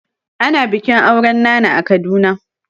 Ana bikin auren nana a Kaduna.